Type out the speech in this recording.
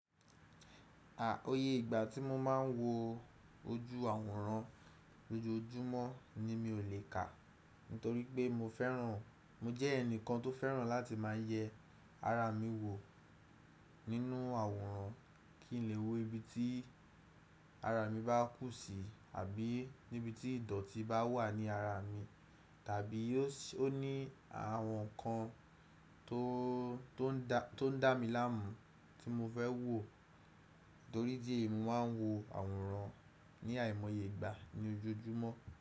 À oyè ìgbà tí mo máa ń wo ojú àwòrán lójoójúmọ́ ni mi ò lè kà. Nítorí pé mo fẹ́ràn, mo jẹ́ ẹnìkan tó fẹ́ràn láti máa yẹ ara mi wò nínú àwòrán kí n lè wo ibi tí ara mi bá kú si àbí níbi tí ìdọ̀tí bá wà ní ara mi. Tàbí ó ní àwọn ǹkan tó, tó ń dá mi láàmú tí mo fẹ́ wò. Nítorí dí è mi máa ń wo àwòrán ní àìmọye ìgbà ní ojoojúmọ́.